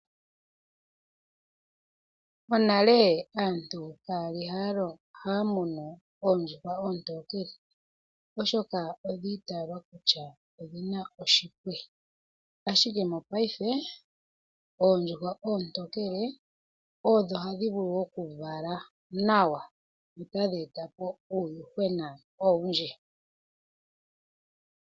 Monale aantu ka yali haya munu oondjuhwa oontokele, oshoka odhi itaalwa kutya odhi na oshipwe ashike mopaife oondjuhwa oontokele odho hadhi vulu oku vala nawa, dho otadhi e ta po uuyuhwena owundji.